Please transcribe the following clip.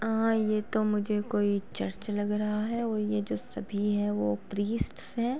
आ ये तो मुझे कोई चर्च लग रहा है और ये जो सभी हैं वो प्रीस्ट्स हैं।